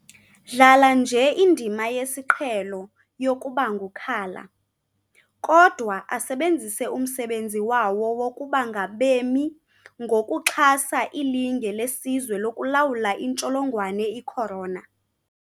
dlala nje indima yesiqhe lo yokubangukhala, kodwa asebenzise umsebenzi wawo wokuba ngabemi ngokuxha sa ilinge lesizwe lokulawula intsholongwane icorona .